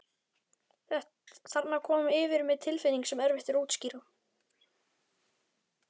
Þarna kom yfir mig tilfinning sem er erfitt að útskýra.